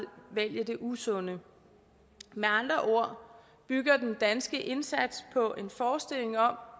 det usunde med andre ord bygger den danske indsats på en forestilling om